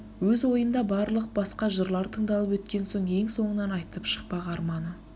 өз ойында барлық басқа жырлар тындалып өткен соң ең соңынан айтып шықпақ арманы